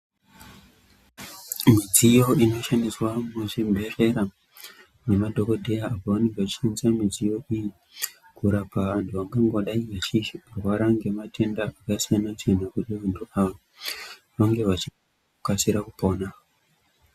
Midziyo inoshandiswa muzvibhedhlera, nemadhokodheya, pavanenge vachishishandisa midziyo iyi ,kurapa anhu angangodai echirwara ngematenda akasiyana-siyana kuti vantu ava ,vane vachikasira kupona.